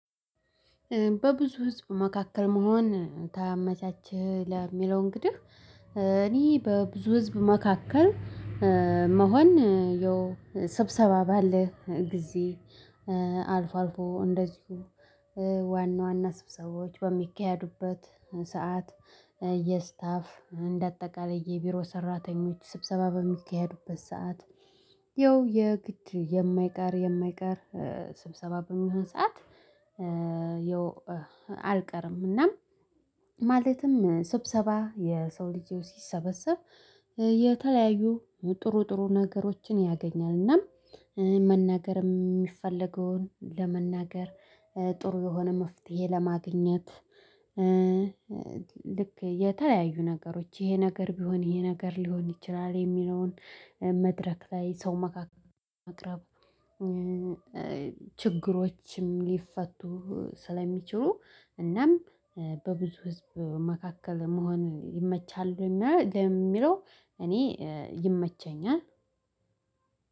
በብዙ ህዝብ መካከል መሆን ታመቻችለህ ለሚለው እንግዲህ እኔ በብዙ ህዝብ መካከል መሆን የው ስብሰባ ባለ ጊዜ አልፎ አልፎ እንደዚሁ ዋና ዋና ስብሰቦች በሚካሄዱበት ሰዓት የስታፍ እንደ አጠቃላይ የቢሮ ሰራተኞች ስብሰባ በሚካሄዱበት ሰዓት ያው የግድ የማይቀር የማይቀር ስብሰባ በሚሆን ሰዓት። ያው አልቀርም እና ማለትም ስብሰባ የሰው ልጅ ሲሰበሰብ የተለያዩ ጥሩ ጥሩ ነገሮችን ያገኛል እናም መናገርም የሚፈለገውን ለመናገር ጥሩ የሆነ መፍትሄ ለማግኘት። ልክ የተለያዩ ነገሮች ይሄ ነገር ቢሆን ይሄ ነገር ሊሆን ይችላል የሚለውን መድረክ ላይ ሰው መካከል መቅረብ። ችግሮችም ሊፈቱ ስለሚችሉ እናም በብዙ ህዝብ መካከል መሆን ይመቻሉ እና ለሚለው እኔ ይመቸኛል።